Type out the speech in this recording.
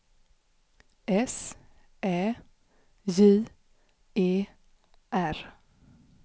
S Ä J E R